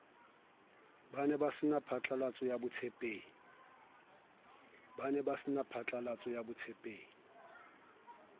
ba saene phatlalatso ya botshepehi